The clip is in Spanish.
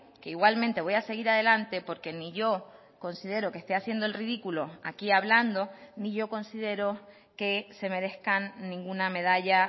que igualmente voy a seguir adelante porque ni yo considero que esté haciendo el ridículo aquí hablando ni yo considero que se merezcan ninguna medalla